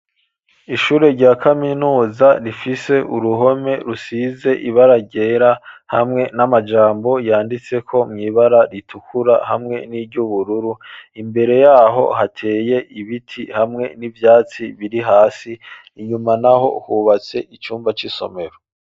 Ishure rya kaminuza rifise uruhome rusize ibararyera hamwe n'amajambo yanditse ko mwibara ritukura hamwe n'iryoubururu imbere yaho hateye ibiti hamwe n'ivyatsi biri hasi inyuma na ho hubatse icumba c'isomero.